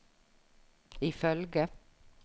ifølge